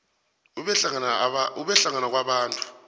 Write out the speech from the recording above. ube hlangana kwabantu